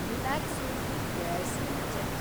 Relaxo footwears limited